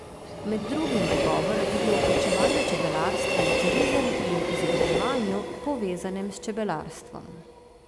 Med drugim bo govora tudi o vključevanju čebelarstva v turizem in izobraževanju, povezanem s čebelarstvom.